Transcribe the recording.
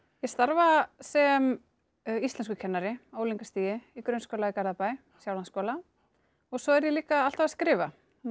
ég starfa sem íslenskukennari á unglingastigi í grunnskóla í Garðabæ Sjálandsskóla svo er ég líka alltaf að skrifa